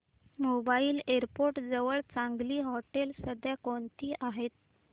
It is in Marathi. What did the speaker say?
मुंबई एअरपोर्ट जवळ चांगली हॉटेलं सध्या कोणती आहेत